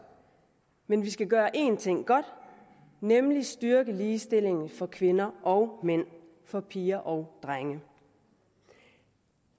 men vi skal gøre en ting godt nemlig styrke ligestillingen for kvinder og mænd for piger og drenge